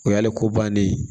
O y'ale ko bannen ye